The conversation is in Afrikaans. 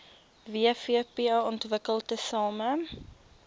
wvp ontwikkel tesame